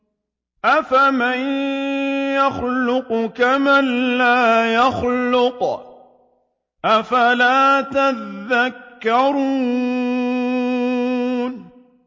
أَفَمَن يَخْلُقُ كَمَن لَّا يَخْلُقُ ۗ أَفَلَا تَذَكَّرُونَ